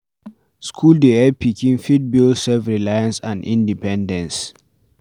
School dey help pikin fit build self reliance and independence